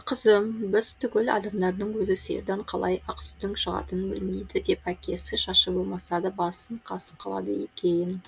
қызым біз түгіл адамдардың өзі сиырдан қалай ақ сүттің шығатынын білмейді деп әкесі шашы болмаса да басын қасып қалады екен